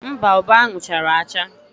Mba, ube ahụ chara acha.